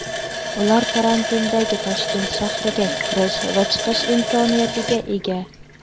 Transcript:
Ular karantindagi Toshkent shahriga kirish va chiqish imkoniyatiga ega.